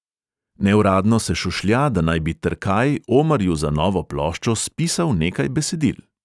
Neuradno se šušlja, da naj bi trkaj omarju za novo ploščo spisal nekaj besedil.